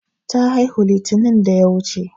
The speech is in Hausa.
Ta haihu litinin da ya wuche.